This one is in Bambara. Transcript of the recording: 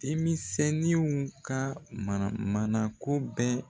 Denmisɛnninw ka mana mana ko bɛɛ